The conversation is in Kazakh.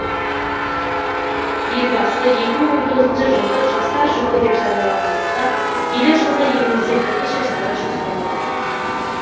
елбасы екі мың он тоғызыншы жылды жастар жылы деп жарияланғандықтан келер жылға елімізде бірнеше шара жоспарлап отыр